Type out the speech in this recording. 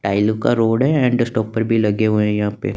tile का road है end stopper भी लगे हुए हैं यहां पे--